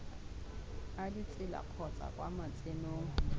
a ditsela kgotsa kwa matsenong